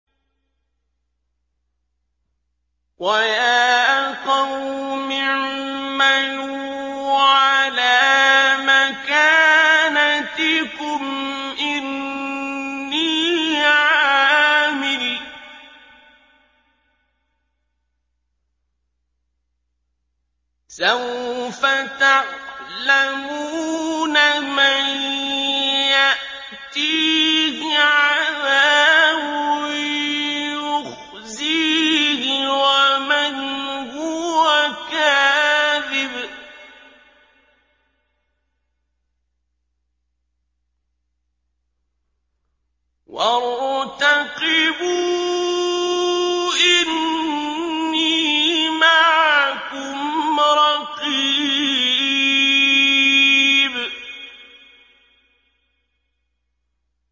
وَيَا قَوْمِ اعْمَلُوا عَلَىٰ مَكَانَتِكُمْ إِنِّي عَامِلٌ ۖ سَوْفَ تَعْلَمُونَ مَن يَأْتِيهِ عَذَابٌ يُخْزِيهِ وَمَنْ هُوَ كَاذِبٌ ۖ وَارْتَقِبُوا إِنِّي مَعَكُمْ رَقِيبٌ